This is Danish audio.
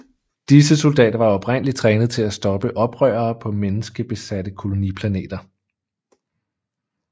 Disse soldater var oprindeligt trænet til at stoppe oprørere på menneskebesatte koloniplaneter